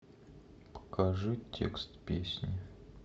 покажи текст песни